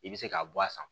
I bɛ se k'a bɔ a san